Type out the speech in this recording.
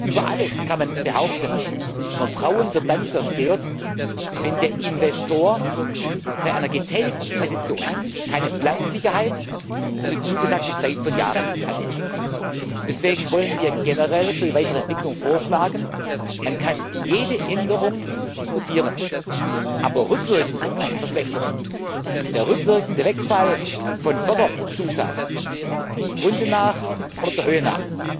Über alles kann man behaupten Vertrauen wird dann zerstört, wenn der Investor bei einer getätigten Investition keine Planungssicherheit für die zugesagte Zahl von Jahren hat. Deswegen wollen wir generell für die weitere Entwicklung vorschlagen Man kann jede Änderung diskutieren, aber rückwirkende Verschlechterungen, der rückwirkende Wegfall von Förderzusagen dem Grunde nach oder der Höhe nach